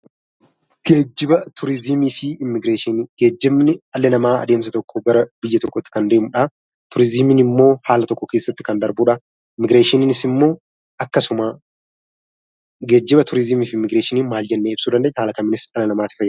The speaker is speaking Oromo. Geejjiba, turizimii fi immigireeshinii: geejjibni dhalli namaa adeemsa tokkoo gara biyyaa tokkootti Kan deemudha. Turizimiin immoo haala tokko keessatti Kan darbuudha. Immigireeshiniinis immoo akkasuma. Geejjiba, turizimii fi immigireeshinii maal jennee ibsuu dandeenya? Haala kamiinis dhala namaatiif fayyadu?